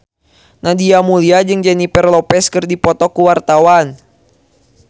Nadia Mulya jeung Jennifer Lopez keur dipoto ku wartawan